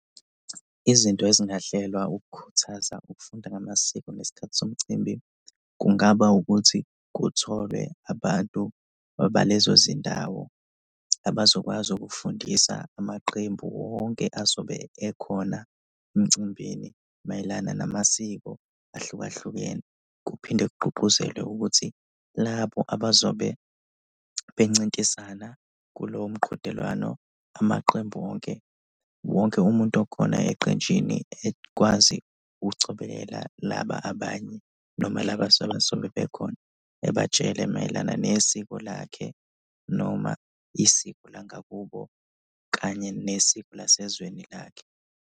Izinto ezingahlelwa ukukhuthaza ukufunda ngamasiko ngesikhathi somcimbi kungaba ukuthi kutholwe abantu balezo zindawo abazokwazi ukufundisa amaqembu wonke azobe ekhona emcimbini mayelana namasiko ahlukahlukene kuphinde kugqugquzelwe ukuthi labo abazobe bencintisana kulowo mqhudelwano, amaqembu wonke, wonke umuntu okhona eqenjini ekwazi ukuqhubekela laba abanye noma laba abasuke bezobe bekhona, ebatshele mayelana nesiko lakhe noma isiko langakubo kanye nesiko lasezweni lakhe.